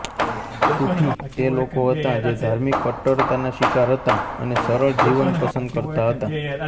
સૂફી તે લોકો હતાં જે ધાર્મિક કટ્ટરતાના શિકાર હતાં અને સરળ જીવન પસન્દ કરતા હતા